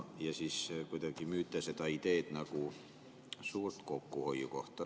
Ja siis kuidagi müüte seda ideed nagu suurt kokkuhoiukohta.